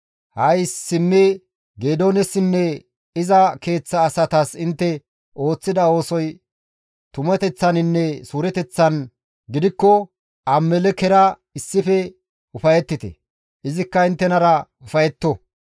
Ha7i simmi Geedoonessinne iza keeththa asatas intte ooththida oosoy tumateththaninne suureteththan gidikko Abimelekkera issife ufayettite; izikka inttenara ufayetto.